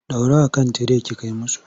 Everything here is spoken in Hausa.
Dora a kan tire ki kai musu!